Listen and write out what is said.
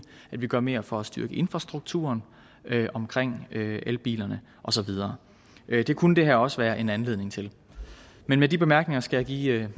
at vi gør mere for at styrke infrastrukturen omkring elbilerne og så videre det kunne det her også være en anledning til men med de bemærkninger skal jeg give